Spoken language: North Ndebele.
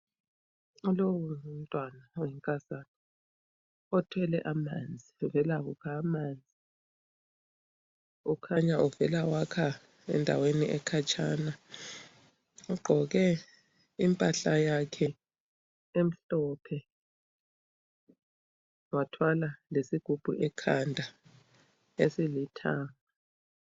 Lowu ngumntwana oyinkazana othwele amanzi uvela kukha amanzi, ukhanya uvela wakha endaweni ekhatshana. Ugqoke impahla yakhe emhlophe wathwala lesigubhu ekhanda esilithanga.